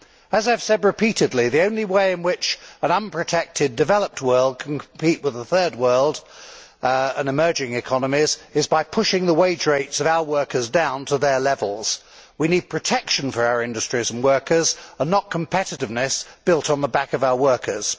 As I have said repeatedly, the only way in which an unprotected developed world can compete with the Third World and emerging economies is by pushing the wage rates of our workers down to their levels. We need protection for our industries and workers and not competitiveness built on the back of our workers.